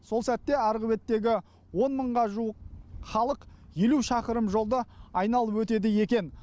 сол сәтте арғы беттегі он мыңға жуық халық елу шақырым жолды айналып өтеді екен